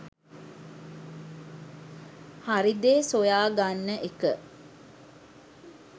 හරි දේ සොයා ගන්න එක